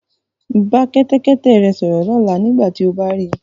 Bá ẹṣin rẹ sọ̀rọ̀ lọ́la nígbà tí ó bá ri.